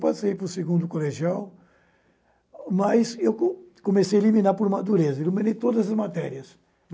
Passei para o segundo colegial, mas co comecei a eliminar por madureza, eliminei todas as matérias.